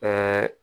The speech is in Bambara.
Ka